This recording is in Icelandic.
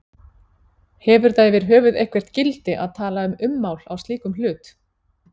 Hefur það yfirhöfuð eitthvert gildi að tala um ummál á slíkum hlut?